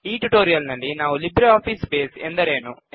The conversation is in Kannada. ಈ ಟ್ಯುಟೋರಿಯಲ್ ನಲ್ಲಿ ನಾವು ಲಿಬ್ರೆ ಆಫೀಸ್ ಬೇಸ್ ಎಂದರೇನು